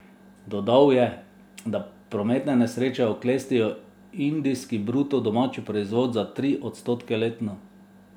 Dodal je, da prometne nesreče oklestijo indijski bruto domači proizvod za tri odstotke letno.